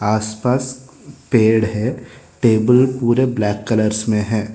आसपास पेड़ है टेबल पूरे ब्लैक कलर्स में है।